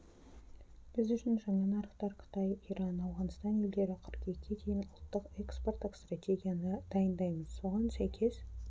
біз үшін жаңа нарықтар қытай иран ауғанстан елдері қыркүйекке дейін ұлттық экспорттық стратегияны дайындаймыз соған сәйкес